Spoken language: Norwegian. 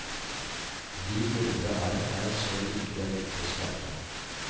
De indre arr er så like den ytre smerte.